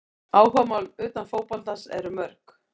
Áhugamál utan fótboltans eru mörg.